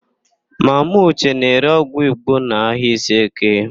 Mama ụche na-ere ọgwụ Igbo n'ahịa Iseeke.